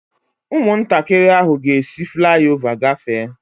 Ụmụntakịrị ahụ ga-esi fulái ová gafee